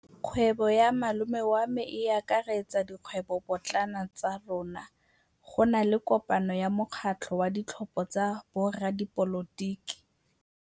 Kgwêbô ya malome wa me e akaretsa dikgwêbôpotlana tsa rona. Go na le kopanô ya mokgatlhô wa ditlhopha tsa boradipolotiki.